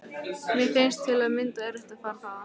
Mér fannst til að mynda erfitt að fara þaðan.